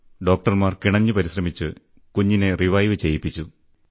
ഡോക്ടർമാർ കിണഞ്ഞു പരിശ്രമിച്ച് കുഞ്ഞിന്റെ ജീവൻ രക്ഷിച്ചു